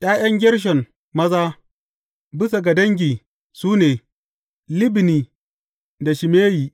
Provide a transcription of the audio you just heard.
’Ya’yan Gershon maza, bisa ga dangi su ne, Libni da Shimeyi.